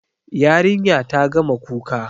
Yarinya ta gama kuka.